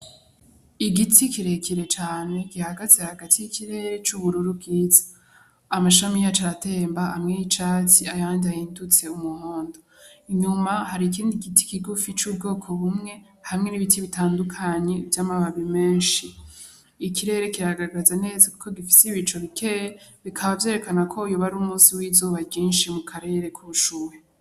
Igiti kirekire cane gihagaze hagati y'ikirere c'ubururu bwiza amashami yacu aratemba hamwe y'icatsi ayanje ahindutse umuhondo inyuma hari ikindi giti kigufi c'ubwoko bumwe hamwe n'ibiti bitandukanyi vy'amababi menshi ikirere kiragagaza neza, kuko gifise ibico bikeye bikaba vyerekana ko yuba ari umusi w'izoba rinshi mu karere k'ushuwe.